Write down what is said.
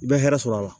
I bɛ hɛrɛ sɔrɔ a la